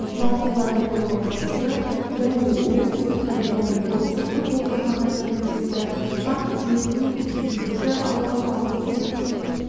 жартылай қорғаушысы және оңтүстік кореяның ұлттық футбол командасының мүшесі пак джи-сунг екінші алау алып жүруші